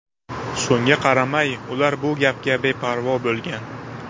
Shunga qaramay, ular bu gapga beparvo bo‘lgan.